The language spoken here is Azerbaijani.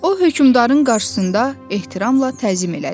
O hökmdarın qarşısında ehtiramla təzim elədi.